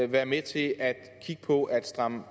være med til at kigge på at stramme